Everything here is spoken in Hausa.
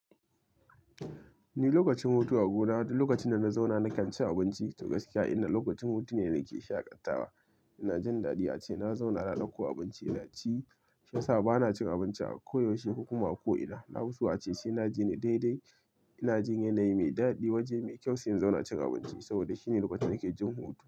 Ni lokacin hutu a gona, duk lokacin da na zauna nakan ci abinci. To gaskiya, inda lokacin hutu ne da nake shaƙatawa. Ina jin daɗi ace, na zauna na dauko abinci na ci. Shiyasa ba na cin abinci a koyaushe, ko kuma a ko ina. Na fi so ace, sai na ji ni daidai. Ina jin yanayi mai daɗi, waje mai kyau, sai in zauna cin abinci saboda shine lokacin da nake jin hutu.